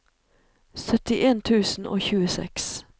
syttien tusen og tjueseks